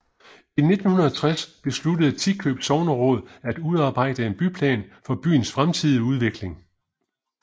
I 1960 besluttede Tikøb Sogneråd at udarbejde en byplan for byens fremtidige udvikling